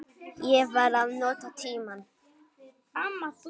Ég var að nota tímann.